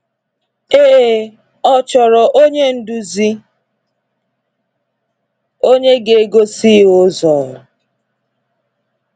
Ee, ọ chọrọ onye nduzi, onye ga-egosi ya ụzọ.